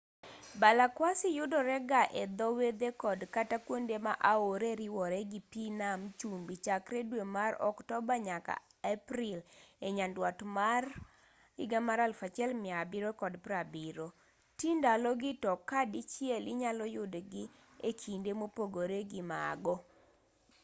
balakwasi yudore ga e dho wedhe kod kata kuonde ma aore riworee gi pi nam chumbi chakre dwe mar oktoba nyaka april e nyanduat mar 1770 ti ndalo gi to ka dichiel inyalo yudgi e kinde mopogore gi mago